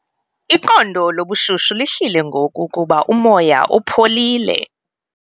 Iqondo lobushushu lihlile ngoku kuba umoya upholile.